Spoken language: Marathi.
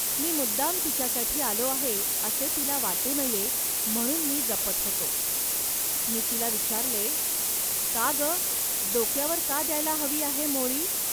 मी मुद्दाम तिच्यासाठी आलो आहे, असे तिला वाटू नये, म्हणून मी जपत होतो. मी तिला विचारले, "का, ग, डोक्यावर का द्यायला हवी आहे मोळी